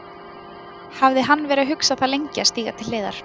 Hafði hann verið að hugsa það lengi að stíga til hliðar?